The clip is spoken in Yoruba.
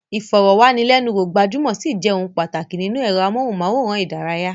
Ìfọ̀rọ̀wánilẹ́nuwò gbajúmọ̀ ṣì jẹ́ ohun pàtàkì nínú ẹ̀rọ amóhùnmáwòrán ìdárayá.